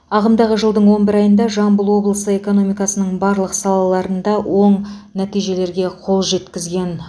ағымдағы жылдың он бір айында жамбыл облысы экономикасының барлық салаларында оң нәтижелерге қол жеткізген